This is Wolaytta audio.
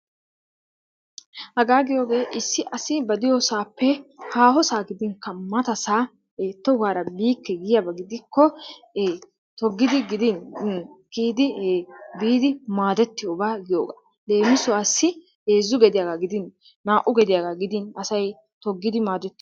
Hagaa giyogee issi assi ba de'iyoo sohuwappe hahossaa gidinikka mattaa sohuwaa tohuwara bikkee giyaba gidiko togidi giddin kiyidi biddi madettiyoba giyogaa, lemisuwassi hezzu gediyaaga gidin na'u gediyaga gidi asay dogidi madetiyogaa.